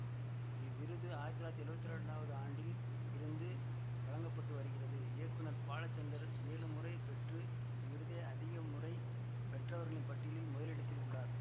இவ்விருது ஆயிரத்தி தொள்ளாயிரத்தி எழுவத்தி இரண்டாவது ஆண்டில் இருந்து வழங்க பட்டு வருகிறது இயக்குநர் பாலசந்தர் ஏழு முறை பெற்று இவ்விருதை அதிகமுறை பெற்றவர்களின் பட்டியலில் முதலிடத்தில் உள்ளார்